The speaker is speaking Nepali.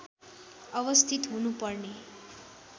अवस्थित हुनुपर्ने